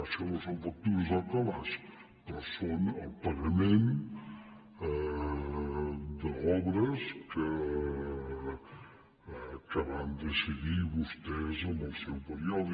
això no són factures al calaix però són el pagament d’obres que van decidir vostès en el seu període